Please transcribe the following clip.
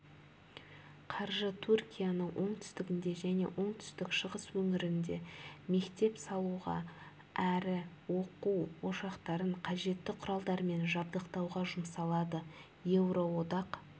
қаржы түркияның оңтүстігінде және оңтүстік-шығыс өңірінде мектеп салуға әрі оқу ошақтарын қажетті құралдармен жабдықтауға жұмсалады еуроодақ